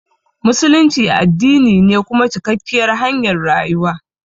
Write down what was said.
Musulunci addini ne kuma cikakkiyar hanyar rayuwa.